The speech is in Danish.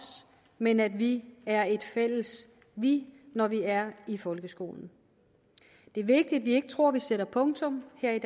men at vi er et fælles vi når vi er i folkeskolen det er vigtigt at vi ikke tror at vi sætter punktum her